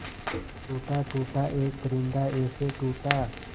टूटा टूटा एक परिंदा ऐसे टूटा